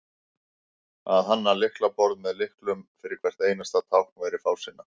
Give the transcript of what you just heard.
að hanna lyklaborð með lyklum fyrir hvert einasta tákn væri fásinna